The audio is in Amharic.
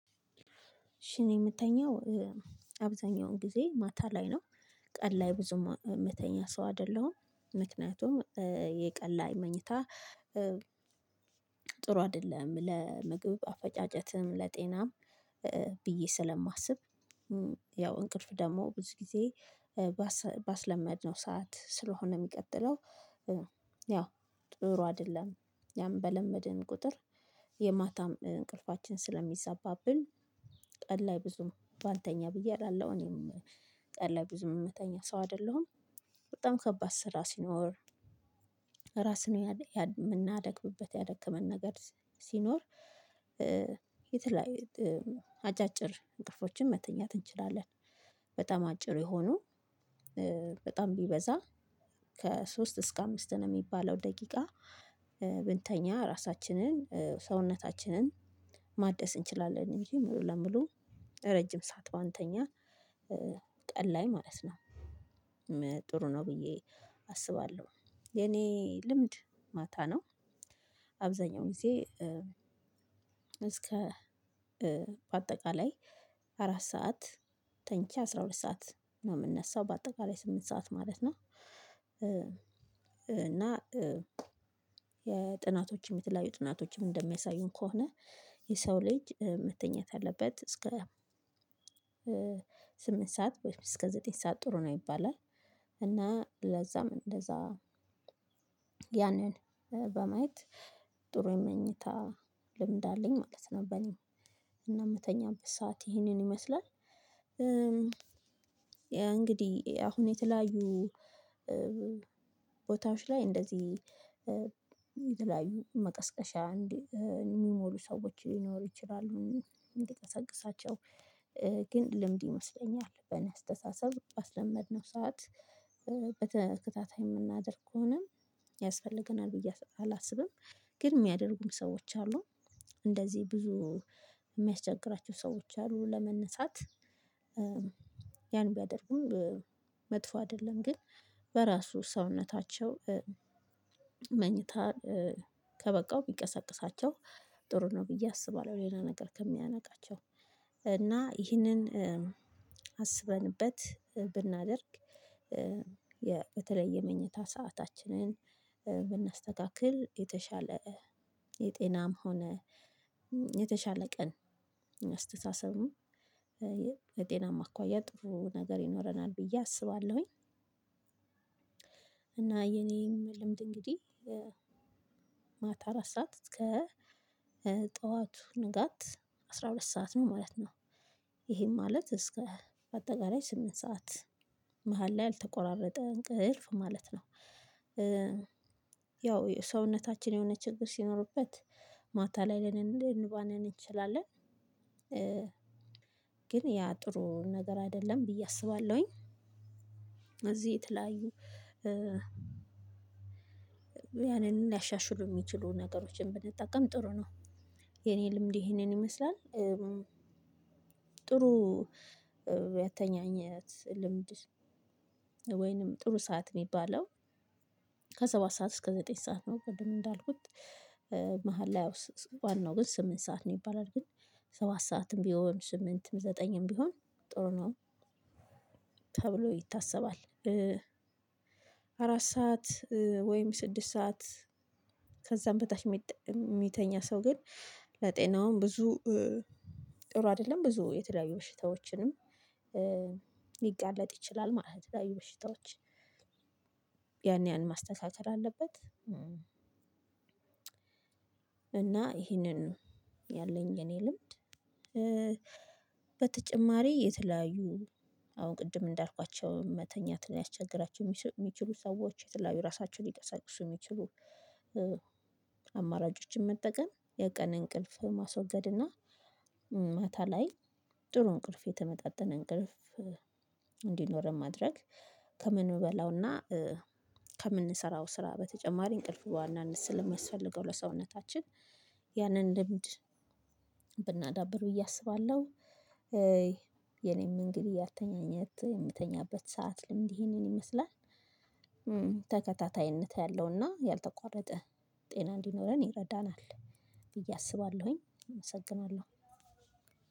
መቼ ነው የምተኛው? አብዛኛውን ጊዜ ማታ ላይ ነው ቀን ላይ ብዙም የምተኛ ሰው አይደለሁም። ምክንያቱም የቀን ላይ መኝታ። ጥሩ አይደለም ለምግብ አፈጫጨትም ለጤናም ብዬ ስለማስብ። ያው እንቅልፍ ደግሞ ብዙ ጊዜ። ባስለመድነው ሰዓት ስለሆነ የሚቀጥለው ያው ጥሩ አይደለም። ያም በለመድን ቁጥር የማታም እንቅልፋችን ስለሚዛባብን። ቀን ላይ ብዙም ባንተኛ ብዬ እላለሁ። እኔም ቀን ላይ ብዙም የምተኛ ሰው አይደለሁም። በጣም ከባድ ስራ ሲኖር ራስን የምናደክምበት ያደከመን ነገር ሲኖር። የተለያየ አጫጭር እንቅልፎችን መተኛት እንችላለን። በጣም አጭር የሆኑ በጣም ቢበዛ ከሶስት እስከ አምስት ነው የሚባለው ደቂቃ ብንተኛ ራሳችንን ሰውነታችንን ማደስ እንችላለን ይሄን ነው የምለው። ረጅም ሰዓት ባንተኛ ቀን ላይ ማለት ነው። ጥሩ ነው ብዬ አስባለሁ። የኔ ልምድ ማታ ነው። አብዛኛውን ጊዜ እስከ በአጠቃላይ አራት ሰዓት ተኝቼ አስራ ሁለት ሰዓት ነው የምነሳው በአጠቃላይ ስምንት ሰዓት ማለት ነው። እና የጥናቶችም የተለያዩ ጥናቶችም እንደሚያሳዩን ከሆነ የሰው ልጅ መተኛት አለበት እስከ ስምንት ሰዓት ወይም እስከ ዘጠኝ ሰዓት ጥሩ ነው ይባላል። እና ለዛም እንደዛ ያንን በማየት ጥሩ የመኝታ ልምድ አለኝ ማለት ነው። በኔ እና የምተኛበት ሰዓት ይሄንን ይመስላል። እንግዲህ አሁን የተለያዩ ቦታዎች ላይ እንደዚህ መቀስቀሻ እንዲህ የሚሞሉ ሰዎች ሊኖሩ ይችላሉ። እንዲቀሰቅሳቸው ግን ልምድ ይመስለኛል በኔ አስተሳሰብ ባስለመድነው ሰዓት በተከታታይ የምናደርግ ከሆነ ያስፈልገናል ብዬ አላስብም። ግን የሚያደርጉም ሰዎች አሉ። እንደዚህ ብዙ የሚያስቸግራቸው ሰዎች አሉ ለመነሳት። ያን ቢያደርጉም መጥፎ አይደለም ግን በራሱ ሰውነታቸው መኝታ ከበቃው ቢቀሰቅሳቸው ጥሩ ነው ብዬ አስባለሁ። ሌላ ነገር ከሚያነቃቸው እና ይሄንን አስበንበት ብናደርግ። በተለይ የምኝታ ሰአታችንን ብናስተካክል የተሻለ የጤናም ሆነ የተሻለ ቀን አስተሳሰብም የጤናማ አኳያ ጥሩ ነገር ይኖረናል ብዬ አስባለሁኝ። እና የኔም ልምድ እንግዲህ ማታ አራት ሰዓት እስከ ጠዋቱ ንጋት አስራ ሁለት ሰዓት ነው ማለት ነው። ይሄም ማለት እስከ በአጠቃላይ ስምንት ሰዓት መሃል ላይ ያልተቆራረጠ እንቅልፍ ማለት ነው። ያው ሰውነታችን የሆነ ችግር ሲኖርበት ማታ ላይ ልንባንን እንችላለን። ግን ያ ጥሩ ነገር አይደለም ብዬ አስባለሁኝ። እዚህ የተለያዩ ያንን ሊያሻሽሉ የሚችሉ ነገሮችን ብንጠቀም ጥሩ ነው። የኔ ልምድ ይሄንን ይመስላል። ጥሩ ያተኛኘት ልምድ ወይንም ጥሩ ሰዓት የሚባለው ከሰባት ሰዓት እስከ ዘጠኝ ሰዓት ነው ቅድም እንዳልኩት። መሃል ላይ ያው ዋናው ግን ስምንት ሰዓት ነው ይባላል ግን ሰባት ሰዓትም ቢሆን ስምንትም ዘጠኝም ቢሆን ጥሩ ነው ተብሎ ይታሰባል። አራት ሰዓት ወይም ስድስት ሰዓት ከዛም በታች የሚተኛ ሰው ግን ለጤናውም ብዙ ጥሩ አይደለም ብዙ የተለያዩ በሽታዎችንም ሊጋለጥ ይችላል ማለት ነው። ለተለያዩ በሽታዎች ያን ያን ማስተካከል አለበት። እና ይሄንን ያለኝ የኔ ልምድ በተጨማሪ የተለያዩ አሁን ቅድም እንዳልኳቸው መተኛት ሊያስቸግራቸው የሚችሉ ሰዎች የተለያዩ ራሳቸውን ሊቀሰቅሱ የሚችሉ። አማራጮችን መጠቀም የቀን እንቅልፍን ማስወገድ እና ማታ ላይ ጥሩ እንቅልፍ የተመጣጠነ እንቅልፍ እንዲኖረን ማድረግ ከምንበላውና ከምንሰራው ስራ በተጨማሪ እንቅልፍ በዋናነት ስለሚያስፈልገው ለሰውነታችን ያንን ልምድ ብናዳብር ብዬ አስባለሁ። የኔም እንግዲህ ያተኛኘት የምተኛበት ሰዓት ልምድ ይሄንን ይመስላል። ተከታታይነት ያለውና ያልተቋረጠ ጤና እንዲኖረን ይረዳናል ብዬ አስባለሁኝ። እመሰግናለሁ።